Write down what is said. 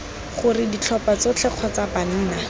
gore ditlhopha tsotlhe kgotsa banna